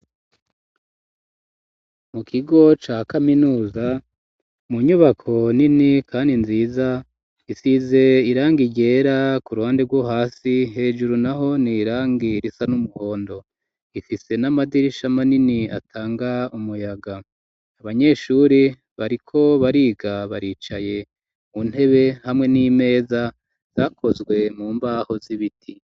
Mu kigo ca kaminuza, mu nyubako nini kandi nziza, isize irangi ryera ku ruhande rwo hasi, hejuru naho ni irangi risa n'umuhondo. Ifise n'amadirisha manini atanga umuyaga. Abanyeshure bariko bariga baricaye mu ntebe, hamwe n'imeza zakozwe mu mbaho z'ibiti.